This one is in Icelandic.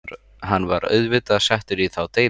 Hann var auðvitað settur í þá deild.